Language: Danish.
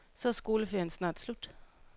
Så er skoleferien snart slut.